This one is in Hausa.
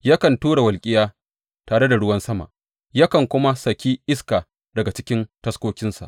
Yakan tura walƙiya tare da ruwan sama yakan kuma saki iska daga cikin taskokinsa.